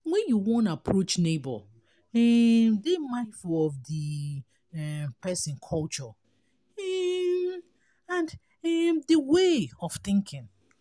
when you wan approach neigbour um dey mindful of di um person culture um and um and way of thinking